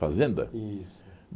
Fazenda? Isso